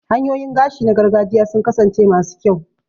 Hanyoyin gashi na gargajiya sun kasance masu kyau